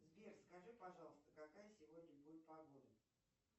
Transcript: сбер скажи пожалуйста какая сегодня будет погода